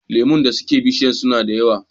Lemu da suke bishiyar suna da yawa.